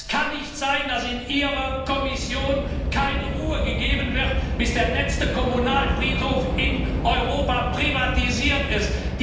Es kann nicht sein, dass in Ihrer Kommission keine Ruhe gegeben wird, bis der letzte Kommunalfriedhof in Europa privatisiert